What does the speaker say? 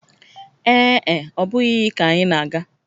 Ee e, ọ bụghị iyi ka anyị na-aga